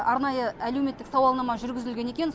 арнайы әлеуметтік сауалнама жүргізілген екен